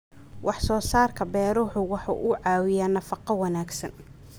Wax soo saarka beeruhu waxa uu caawiyaa nafaqo wanaagsan.